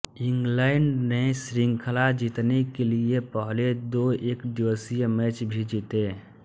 England ने श्रृंखला जीतने के लिए पहले दो एकदिवसीय मैच भी जीते